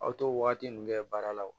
Aw t'o wagati ninnu kɛ baara la